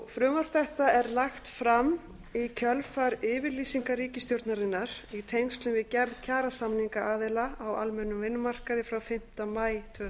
frumvarp þetta er lagt fram í kjölfar yfirlýsingar ríkisstjórnarinnar í tengslum við gerð kjarasamninga aðila á almennum vinnumarkaði frá fimmta maí tvö þúsund og ellefu